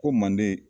Ko manden